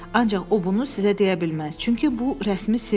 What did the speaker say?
Ancaq o bunu sizə deyə bilməz, çünki bu rəsmi sirdir.